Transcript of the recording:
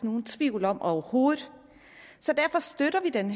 nogen tvivl om overhovedet så derfor støtter vi den